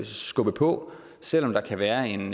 skubbe på selv om der kan være en